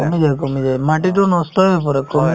কমি যায় কমি যায় মাটিতো নষ্টয়ে কৰে